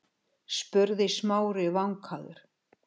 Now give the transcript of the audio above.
spurði Smári vankaður.